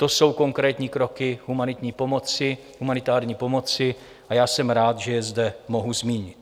To jsou konkrétní kroky humanitární pomoci a já jsem rád, že je zde mohu zmínit.